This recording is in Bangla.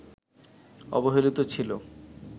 অবহেলিত ছিল